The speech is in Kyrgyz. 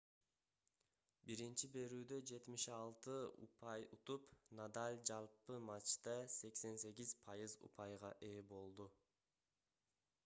биринчи берүүдө 76 упай утуп надаль жалпы матчта 88% упайга ээ болду